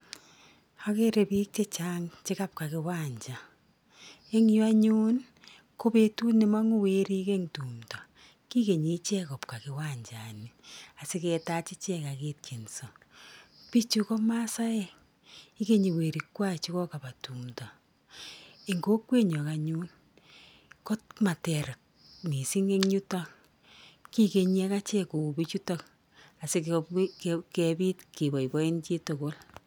Ageere biik chechang che kabwa uwanja, eng yu anyuun ko betut nemangu weriik eng tumdo, kikenyii icheek kobwa kiwanjani asiketaach ichek ak ketienso. Biichu ko masaek, ikeny werikwai che kokaba tumdo, eng kokwenyon anyuun komater mising eng yuto. Kikenyi akichek kou biichuto asikopit keboiboichin tugul.